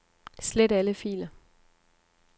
Slet alle filer.